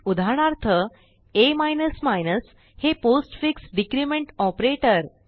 उदाहरणार्थ आ हे पोस्टफिक्स डिक्रिमेंट ऑपरेटर